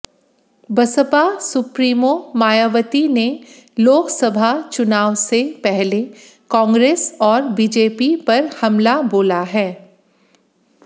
Baspa supremo Mayawati ने लोकसभा चुनाव से पहले कांग्रेस और बीजेपी पर हमला बोला है